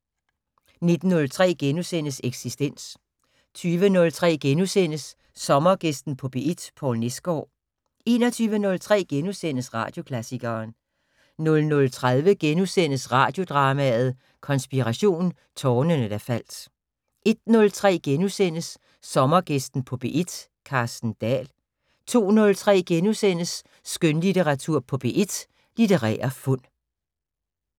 19:03: Eksistens * 20:03: Sommergæsten på P1: Poul Nesgaard * 21:03: Radioklassikeren * 00:30: Radiodrama: Konspiration - Tårnene der faldt * 01:03: Sommergæsten på P1: Carsten Dahl * 02:03: Skønlitteratur på P1: Litterære fund *